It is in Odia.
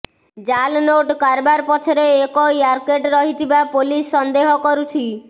ଜାଲ୍ ନୋଟ୍ କାରବାର ପଛରେ ଏକ ର୍ୟାକେଟ୍ ରହିଥିବା ପୋଲିସ ସନ୍ଦେହ କରୁଛି